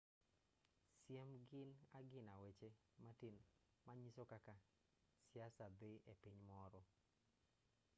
siem gin agina weche matin manyiso kaka siasa dhii epiny moro